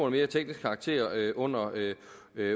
af mere teknisk karakter under